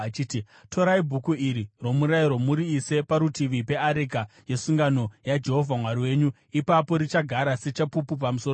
“Torai Bhuku iri roMurayiro muriise parutivi peareka yesungano yaJehovha Mwari wenyu. Ipapo richagara sechapupu pamusoro penyu.